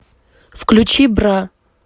включи бра